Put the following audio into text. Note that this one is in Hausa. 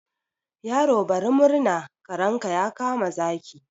Yaro bari murna, karenka ya kama zaki.